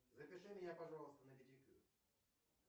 запиши меня пожалуйста на педикюр